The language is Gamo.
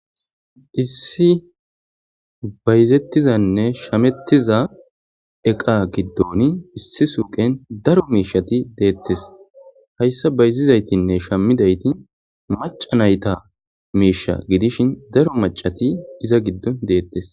issi bayzettizanne shamettiza eqa giddon issi suqen daro meishati deettes hayssa bayzizaytinne shamidayti maca nayta meisha gidishin daro macati iza giddo deettes